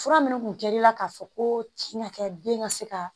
Fura minnu tun dir'i la k'a fɔ ko tin ka kɛ den ka se ka